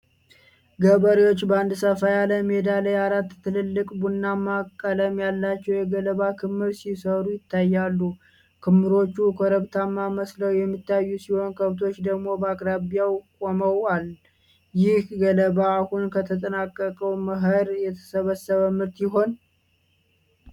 ገበሬዎች በአንድ ሰፋ ያለ ሜዳ ላይ አራት ትላልቅ፣ ቡናማ ቀለም ያላቸው የገለባ ክምር ሲሰሩ ይታያሉ። ክምሮቹ ኮረብታ መስለው የሚታዩ ሲሆን፣ ከብቶች ደግሞ በአቅራቢያው ቆመዋል። ይህ ገለባ አሁን ከተጠናቀቀው መኸር የተሰበሰበ ምርት ይሆን?